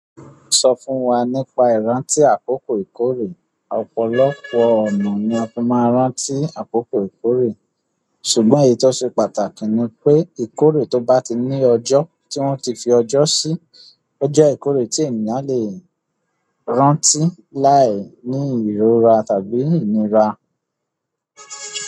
Sọ fún wa nípa ìrántí àkókò ìkórè. Ọ̀pọ̀lọpọ̀ ọ̀nà ni a fi máa ń rántí àkókò ìkọ́ré. Ṣùgbọ́n èyí tó ṣe pàtàkì ni pé ìkórè tó bá ti ní ọjọ́ tí wọ́n ti fi ọjọ́ sí, ó jẹ́ ìkórè tí ènìyàn lẹ́ rántí láìní ìrora tàbí ìnira.